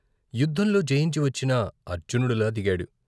యుద్ధంలో జయించి వచ్చిన అర్జునుడులా దిగాడు.